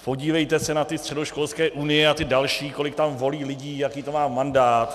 Podívejte se na ty středoškolské unie a ty další, kolik tam volí lidí, jaký to má mandát.